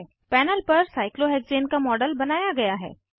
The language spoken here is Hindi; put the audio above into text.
पैनल पर साइक्लोहेक्सेन का मॉडल बनाया गया है